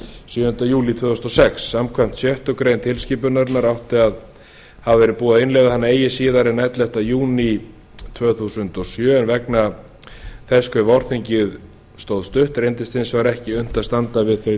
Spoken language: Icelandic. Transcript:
sjöunda júlí tvö þúsund og sex samkvæmt sjöttu grein tilskipunarinnar átti að hafa verið búið að innleiða hana eigi síðar en ellefta júní tvö þúsund og sjö en vegna þess hve vorþingið stóð stutt reyndist hins vegar ekki unnt að standa við þau